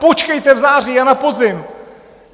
Počkejte v září a na podzim!